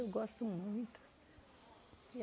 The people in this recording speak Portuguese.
Eu gosto muito.